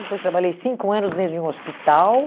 Depois trabalhei cinco anos dentro de um hospital.